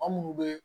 Maa munnu be